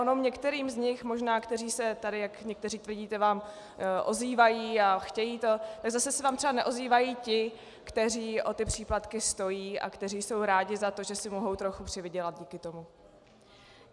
Ono některým z nich možná, kteří se tady, jak někteří tvrdíte, vám ozývají a chtějí to, tak zase se vám třeba neozývají ti, kteří o ty příplatky stojí a kteří jsou rádi za to, že si mohou trochu přivydělat díky tomu.